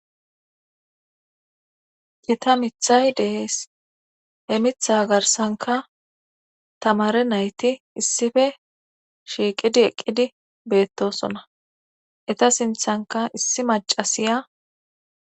ita mithay dees he mitha garsanka tamare nayti issife shiiqidi eqqidi beettosona eta sinthanka issi macasiya